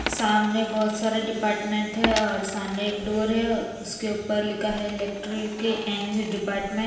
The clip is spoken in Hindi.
सामने बहुत सारा डिपार्टमेंट है और सामने एक डोर है उसके ऊपर लिखा है इलेक्ट्रीकल एन जे डिपार्मेंट ।